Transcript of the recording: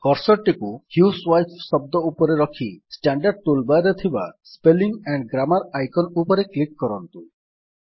cursor ଟିକୁ housewife ଶବ୍ଦ ଉପରେ ରଖି ଷ୍ଟାଣ୍ଡାର୍ଡ ଟୁଲ୍ ବାର୍ ରେ ଥିବା ସ୍ପେଲିଂ ଆଣ୍ଡ୍ ଗ୍ରାମର ଆଇକନ୍ ଉପରେ କ୍ଲିକ୍ କରନ୍ତୁ